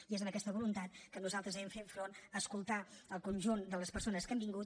i és amb aquesta voluntat que nosaltres hem fet front a escoltar el conjunt de les persones que han vingut